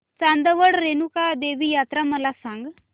चांदवड रेणुका देवी यात्रा मला सांग